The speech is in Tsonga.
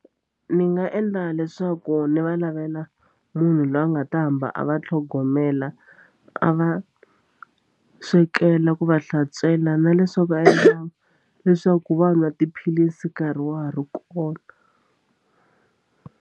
Ni nga endla leswaku ni va lavela munhu loyi a nga ta hamba a va tlhogomela a va swekela ku va hlantswela na leswaku va endla leswaku va nwa tiphilisi nkarhi wa ha ri kona.